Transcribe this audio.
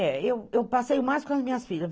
É, eu passeio mais com as minhas filhas.